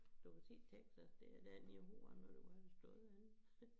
***UF**